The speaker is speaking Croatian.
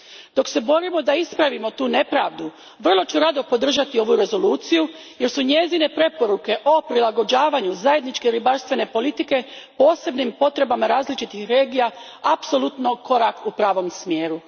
Dok se borimo da ispravimo tu nepravdu, vrlo ću rado podržati ovu rezoluciju jer su njezine preporuke o prilagođavanju Zajedničke ribarstvene politike posebnim potrebama različitih regija apsolutno korak u pravome smjeru.